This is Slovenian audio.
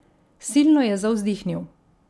Silno je zavzdihnil.